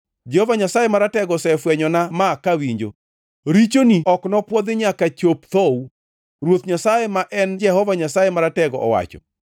Jehova Nyasaye Maratego osefwenyona ma kawinjo: “Richoni ok nopwodhi nyaka chop thou,” Ruoth Nyasaye ma en Jehova Nyasaye Maratego owacho.